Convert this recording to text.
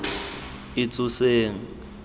itsoseng